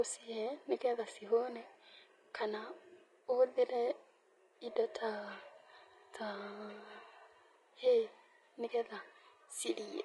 ũcihe nĩ getha cihũne kana ũhũthĩre indo ta hay nĩ getha cirĩe.